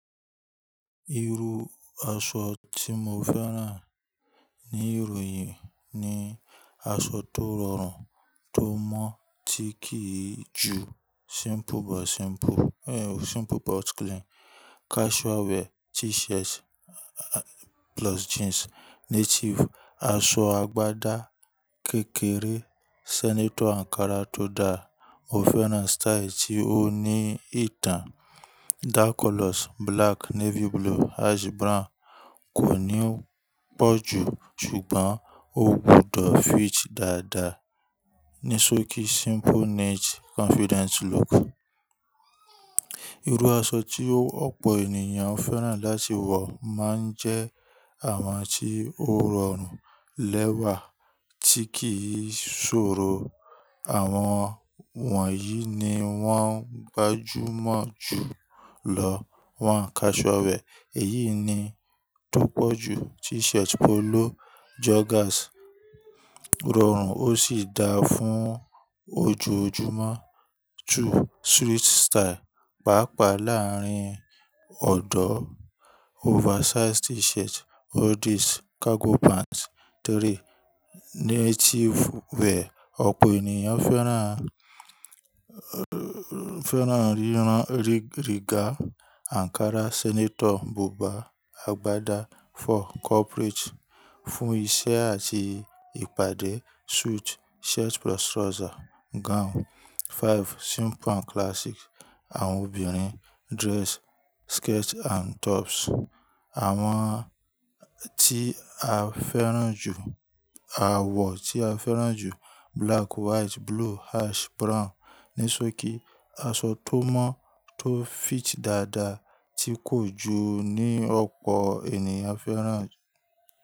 Irú aṣọ tí mo fẹ́ràn ní ìròyìn ni aṣọ tó rọrùn, tó mọ́, tí kì í ju simple but simple, simple but clean. Casual wear, T-shirt plus jeans. Native, aṣọ agbádá kékeré, senator ankara tó da. Mo fẹ́ràn style tí ó ní ìtàn. Dark colors, black, navy blue, ash brown kò ní pọ̀ jù ṣùgbọ́n ó gbúdọ̀ fit dáadáa. Nisoki, simple niche, confident look. Irú aṣọ tí ọ̀pọ̀ ènìyàn fẹ́ràn láti wọ̀ máa ń jẹ́ àwọn tí ó rọrùn lẹ́wà, tí kì í ṣòro. Àwọn wọ̀nyí ni wọ́n gbajúmọ̀ jù lọ. One casual wear èyí ni tó pọ̀ jù. T-shirt, polo, joggers. O rọrùn ó sì da fún ojoojúmọ́. Two, street style. Paapaa láàarín ọ̀dọ̀. Oversized T-shirt, hoodies, cargo pants. Three, native wear. Ọ̀pọ̀ ènìyàn fẹ́ràn, fẹ́ràn rírán rìgá, ankara, senator, buba, agbádá. Four, corporate. Fún iṣẹ́ àti ìpàdé. Suit, shirt plus trouser, gown. Five, simple and classic. Àwọn obìnrin dress, skirt and tops. Àwọn tí a fẹ́ràn jù a wọ̀ tí a fẹ́ràn jù black, white, blue, ash, brown. Nisoki, aṣọ tó mọ́, tó fit dáadáa tí kò jù ni ọ̀pọ̀ ènìyàn fẹ́ràn.